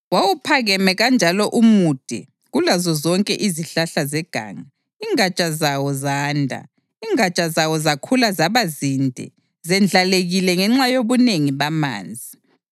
Wawuphakeme kanjalo umude kulazo zonke izihlahla zeganga; ingatsha zawo zanda, ingatsha zawo zakhula zaba zinde zendlalekile ngenxa yobunengi bamanzi.